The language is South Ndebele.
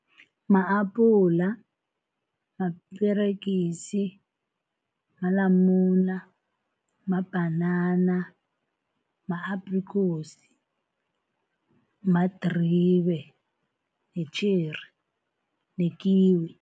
Ma-apula, maperegisi, malamula, mabhanana, ma-aprikosi, madribe, yi-cherry nekiwi.